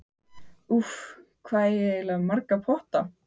Úff, hvað eigið þið eiginlega marga potta?